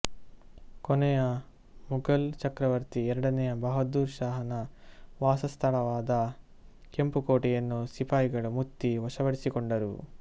ಕೊನೆಯ ಮುಘಲ್ ಚಕ್ರವರ್ತಿ ಎರಡನೇ ಬಹಾದುರ್ ಶಹಾನ ವಾಸಸ್ಥಳವಾದ ಕೆಂಪು ಕೋಟೆಯನ್ನು ಸಿಪಾಯಿಗಳು ಮುತ್ತಿ ವಶಪಡಿಸಿಕೊಂಡರು